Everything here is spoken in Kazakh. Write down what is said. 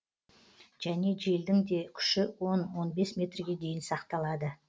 және желдің дә күші он он бес метрге дейін сақталады